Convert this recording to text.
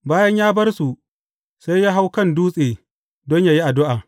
Bayan ya bar su, sai ya hau kan dutse don yă yi addu’a.